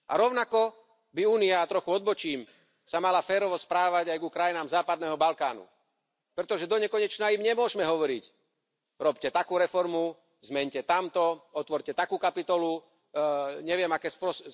A rovnako by sa Únia, trochu odbočím, mala férovo správať aj ku krajinám západného Balkánu, pretože donekonečna im nemôžme hovoriť robte takú reformu, zmeňte tamto, otvorte takú kapitolu, neviem aké spros....